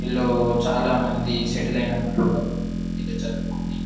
వీళ్ళు చాలామంది సెటిల్ అయినారు ఇక్కడ చదువుకొని--